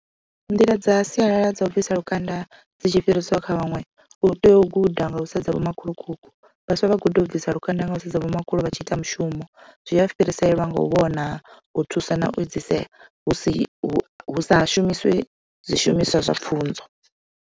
Nḓila dza sialala dza u bvisa lukanda dzi tshi fhiriselwa kha vhaṅwe u tea u guda nga u sedza vho makhulukuku vhaswa vha guda u bvisa lukanda nga u sedza vhomakhulu vhatshi ita mushumo zwi a fhiriselwa nga u vhona u thusa na u edzisela hu si hu hu sa shumiswe zwishumiswa zwa pfhunzo.